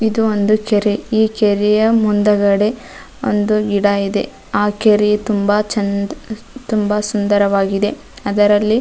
ಇದು ಒಂದು ಚೆರಿ ಈ ಚೆರಿಯ ಮುಂದಗಡೆ ಒಂದು ಗಿಡ ಇದೆ ಆ ಕೆರಿ ತುಂಬ ಚೆನ್ನ್ ತುಂಬ ಸುಂದರವಾಗಿದೆ ಅದರಲ್ಲಿ --